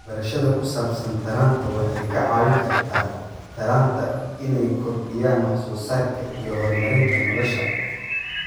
Waxbarashada ku saabsan taranta waxay ka caawin kartaa taranta inay kordhiyaan wax soo saarka iyo horumarinta noloshooda.